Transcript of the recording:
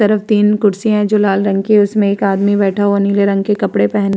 तरफ तीन खुर्सिया हैं जो लाल रंग की है। उसमे एक आदमी बैठा हुआ है नीले रंग की कपड़े पहन --